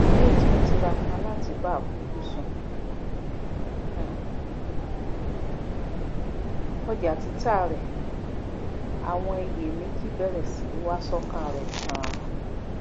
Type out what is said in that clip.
bí ó ti ń tiraka láti ba àfojúsùn um ọjà tita rẹ àwọn iyèméjì bẹrẹ si i wa sọkan rẹ ganan